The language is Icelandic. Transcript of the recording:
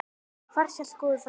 Far sæll góður frændi.